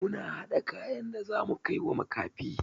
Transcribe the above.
Muna haɗa kayan da zamu kaiwa makafi.